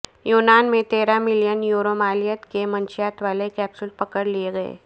یونان میں تیرہ ملین یورو مالیت کے منشیات والے کیپسول پکڑ لیے گئے